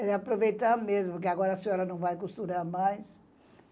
Eles aproveitavam mesmo, porque agora a senhora não vai costurar mais.